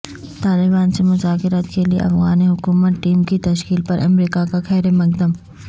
طالبان سے مذاکرات کیلئے افغان حکومتی ٹیم کی تشکیل پر امریکہ کا خیر مقدم